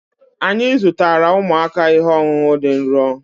anyị zụtara ụmụaka ihe ọṅụṅụ dị nro